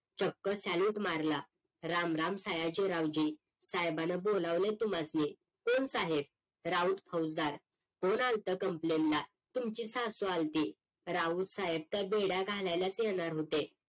चक्क salute मारला राम राम सयाजी राऊजी साहेबानं बोलावलय तुम्हासनी कोण साहेब राऊत फौसदार कोण आल होत complain ला तुमची सासू आली होती राऊत साहेब तर बेड्या घालायलाच येणार होते